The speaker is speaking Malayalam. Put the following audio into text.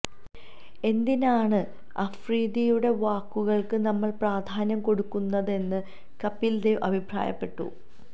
എന്തിനാണ് അഫ്രീദിയുടെ വാക്കുകൾക്ക് നമ്മൾ പ്രാധാന്യം കൊടുക്കുന്നതെന്ന് കപിൽ ദേവ് അഭിപ്രായപ്പെട്ടു